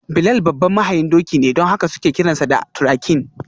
Bilal babban mahayin doki ne don haka suke kiransa da: ‘Turakin’.